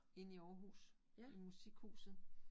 Inde i Aarhus i Musikhuset